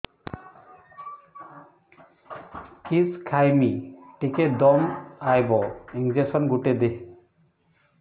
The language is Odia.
କିସ ଖାଇମି ଟିକେ ଦମ୍ଭ ଆଇବ ଇଞ୍ଜେକସନ ଗୁଟେ ଦେ